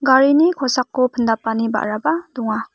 garini kosako pindapani ba·raba donga.